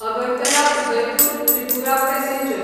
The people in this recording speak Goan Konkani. अगरतला उदयपूर त्रिपुरा पॅसेंजर